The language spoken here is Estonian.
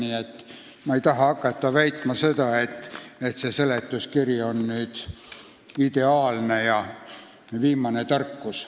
Nii et ma ei taha hakata väitma, et see seletuskiri on nüüd ideaalne ja viimane tarkus.